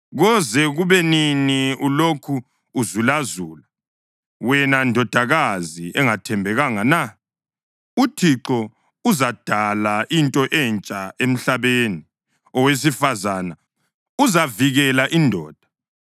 Koze kube nini ulokhu uzulazula, wena ndodakazi engathembekanga na? UThixo uzadala into entsha emhlabeni, owesifazane uzavikela indoda.”